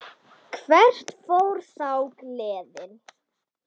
Hvert fór þá gleðin?